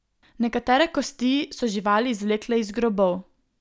Nekatere kosti so živali izvlekle iz grobov.